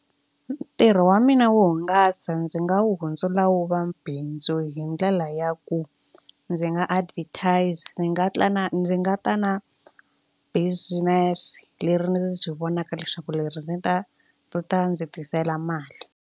Ntirho wa mina wo hungasa ndzi nga wu hundzula wu va bindzu hi ndlela ya ku ndzi nga advertise ndzi nga ta na ndzi nga ta na business leri ndzi vonaka leswaku leri ndzi ta ri ta ndzi tisela mali.